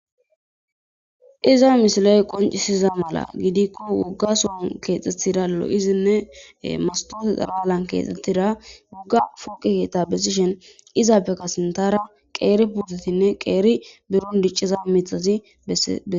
Iza misiley qoncisiza mala gidikko wuggason keexxettida lo'izinne mastoose xaraalan keexxettira wugga fooqi keeta bessishen izappeka sintara qeeri putetinne qeeri burun dicciza mitazi ee.